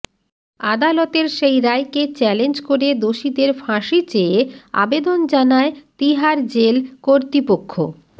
আদালতের সেই রায়কে চ্যালেঞ্জ করে দোষীদের ফাঁসি চেয়ে আবেদন জানায় তিহার জেল কর্তৃপক্ষ